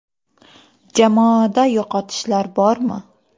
- Jamoada yo‘qotishlar bormi?